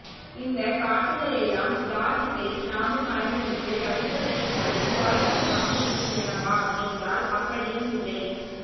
இந்தக் காட்சிகளெல்லாம் லாஜிக்கை நாமும் மறந்துவிட்டு ரசிக்கவைக்கும்படி சுவாரஸ்யமாக இருக்கின்றனவா என்றால் அப்படியும் இல்லை